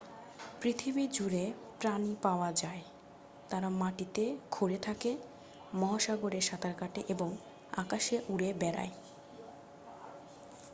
পৃথিবী জুড়ে প্রাণী পাওয়া যায় তারা মাটিতে খুঁড়ে থাকে মহাসাগরে সাঁতার কাটে এবং আকাশে উড়ে বেড়ায়